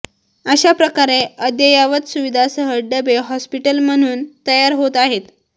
अशा प्रकारे अद्ययावत सुविधासह डबे हॉस्पिटल म्हणून तयार होत आहेत